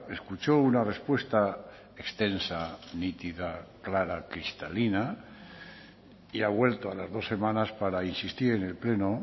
escuchó una respuesta extensa nítida clara cristalina y ha vuelto a las dos semanas para insistir en el pleno